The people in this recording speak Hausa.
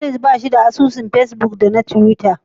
Walid bashi da asusun fesbuk da na tiwita.